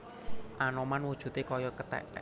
Anoman wujudé kaya kethèk